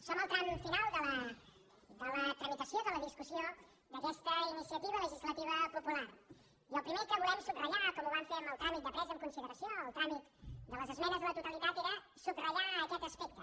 som al tram final de la tramitació de la discussió d’aquesta iniciativa legislativa popular i el primer que volem subratllar com ho vam fer amb el tràmit de presa en consideració el tràmit de les esmenes a la totalitat era subratllar aquest aspecte